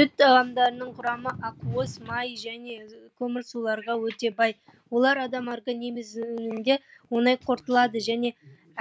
сүт тағамдарының құрамы ақуыз май және көмірсуларға өте бай олар адам органимизимге оңай қорытылады және